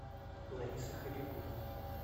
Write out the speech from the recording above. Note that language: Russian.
ларисы хабибуллиной